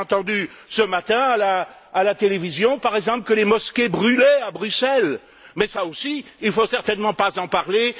J'ai entendu ce matin à la télévision, par exemple, que les mosquées brûlaient à Bruxelles, mais de cela aussi, il ne faut certainement pas en parler.